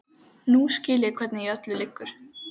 Nú skil ég hvernig í öllu liggur.